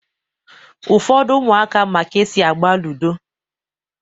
Ụfọdụ ụmụaka ma ka-esi agba ludo